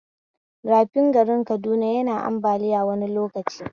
Rafin garin Kaduna yana ambaliya wani lokaci